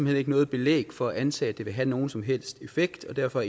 hen ikke noget belæg for at antage at det vil have nogen som helst effekt og derfor